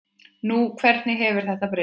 Nú, hvernig hefur þetta breyst?